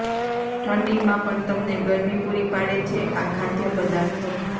ઠંડીમાં પણ તમને ગરમી પુરી પાડે છે આ ખાદ્ય પદાર્થો